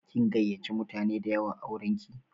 Kin gayyace mutane da yawa auranki?